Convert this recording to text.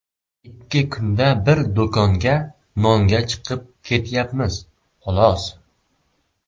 Ikki kunda bir do‘konga nonga chiqib kelyapmiz, xolos.